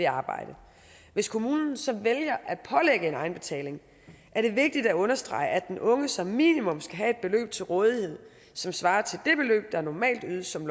arbejde hvis kommunen så vælger at pålægge en egenbetaling er det vigtigt at understrege at den unge som minimum skal have et beløb til rådighed som svarer til det beløb der normalt ydes som